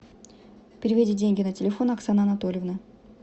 переведи деньги на телефон оксаны анатольевны